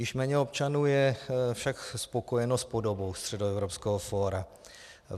Již méně občanů je však spokojeno s podobou Středoevropského fóra.